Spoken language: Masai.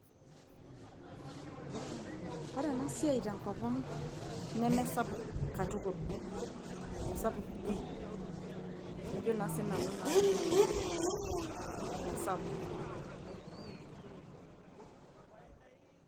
ore enasiai tenkop ang nemesapuk katukul mesapuk pii ajo naa sinanu naa telde kerenget lang mesapuk.